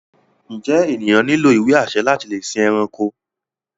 Njé ènìyàn nílò ìwé-àṣẹ láti lè sìn ẹranko?